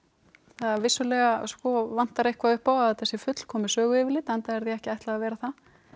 það vissulega vantar eitthvað upp á að þetta sé fullkomið söguyfirlit enda er því ekki ætlað að vera það